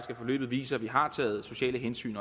at forløbet viser at vi har taget sociale hensyn